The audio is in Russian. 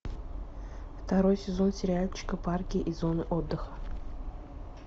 второй сезон сериальчика парки и зоны отдыха